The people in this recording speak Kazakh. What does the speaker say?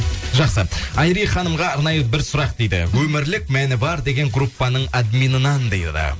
жақсы айри ханымға арнайы бір сұрақ дейді өмірлік мәні бар деген группаның админынан дейді